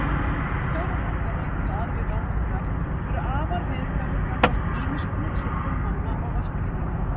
Förufálkar, líkt og aðrir ránfuglar, eru afar viðkvæmir gagnvart ýmis konar truflun manna á varptíma.